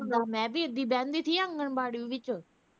ਮੈਂ ਵੀ ਬਹਿੰਦੀ ਸੀ ਆਂਗਣਵਾੜੀ ਵਿੱਚ